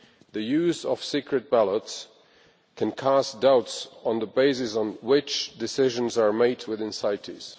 The use of secret ballots can cast doubts on the basis on which decisions are made within CITES.